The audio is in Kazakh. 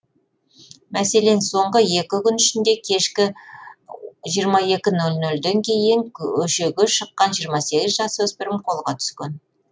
мәселен соңғы екі күн ішінде кешкі жиырма екі нөл нлден кейін көшеге шыққан жиырма сегіз жасөспірім қолға түскен